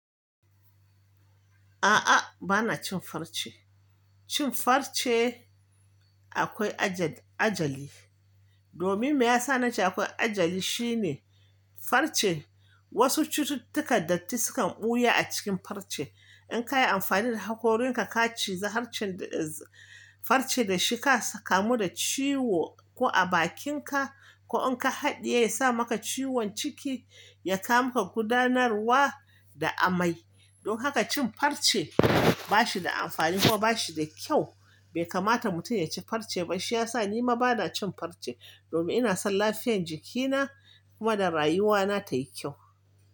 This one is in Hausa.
A'a, ba na cin farce. Cin farce akwai ajal-ajali. Domin me ya sa na ce akwaiaajali shine farce wasu cututtukan datti sukan ɓuya a cikin farce. In ka yi amfani da hakorinka ka ciza halcenda-farce da shika, sa kamu da ciwo ko a bakinka ko in ka haɗiye, ya sa maka ciwon ciki, ya kampka gudanarwa da amai. Don haka cin farce ba shi da amfani kuma ba shi da kyau. Bai kamata mutum ya ci farce ba. Shi ya sa ni ma ba na cin farce domin ina son lafiyan jikina kuma da rayuwana tai kyau.